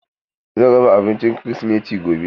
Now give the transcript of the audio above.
Zan raba abinci kirisimeti gobe.